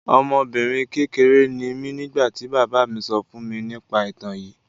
Ọmọbinrin kekere ni mi nigbati baba mi sọ fun mi nipa itan yii